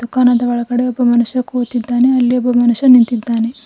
ದುಖಾನದ ಒಳಗಡೆ ಒಬ್ಬ ಮನುಷ್ಯ ಕೂತಿದ್ದಾನೆ ಅಲ್ಲಿ ಒಬ್ಬ ಮನುಷ್ಯ ನಿಂತಿದ್ದಾನೆ.